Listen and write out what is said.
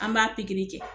An b'a pikiri kɛ